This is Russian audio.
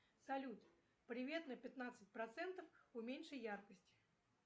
салют привет на пятнадцать процентов уменьши яркость